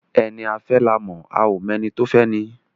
Ẹni a fẹ́ la mọ̀, a ó mọ ẹni tí ó fẹ́ni